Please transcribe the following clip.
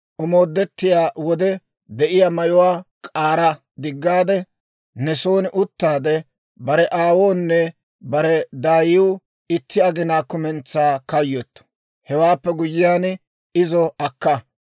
Omoodettiyaa wode de'iyaa mayuwaa k'aara diggaade, ne son uttaade, bare aawoonne bare daayiw itti aginaa kumentsaa kayyottu. Hewaappe guyyiyaan, izo akka.